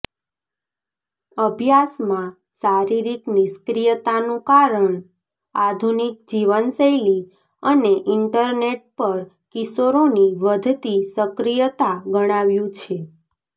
અભ્યાસમાં શારીરિક નિષ્ક્રિયતાનું કારણ આધુનિક જીવનશૈલી અને ઈન્ટરનેટ પર કિશોરોની વધતી સક્રિયતા ગણાવ્યું છે